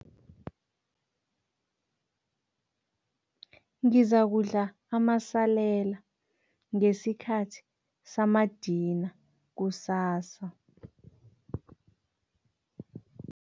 Ngizakudla amasalela ngesikhathi samadina kusasa.